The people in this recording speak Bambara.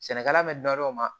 Sɛnɛkɛla bɛ dɔn o ma